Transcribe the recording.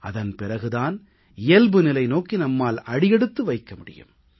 அதன் பிறகு தான் இயல்பு நிலை நோக்கி நம்மால் அடியெடுத்து வைக்க முடியும்